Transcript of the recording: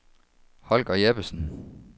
Holger Jeppesen